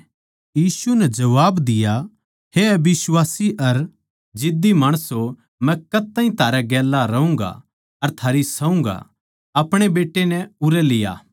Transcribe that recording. यीशु नै जबाब दिया हे अबिश्वासी अर जिद्दी माणसों मै कद ताहीं थारै गेल्या रहूँगा अर थारी सहूँगा अपणे बेट्टे नै उरै लिया